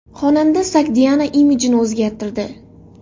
Xonanda Sogdiana imijini o‘zgartirdi.